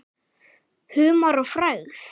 Humar og frægð?